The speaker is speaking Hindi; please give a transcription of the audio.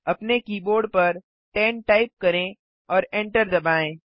अपने कीबोर्ड पर 10 टाइप करें और एंटर दबाएँ